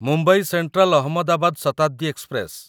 Mumbai Central Ahmedabad Shatabdi express